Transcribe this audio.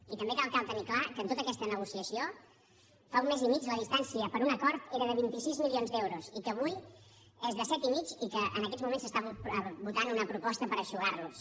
i també cal tenir clar que en tota aquesta negociació fa un mes i mig la distància per a un acord era de vint sis milions d’euros i que avui és de set i mig i que en aquests moments es vota una proposta per eixugar los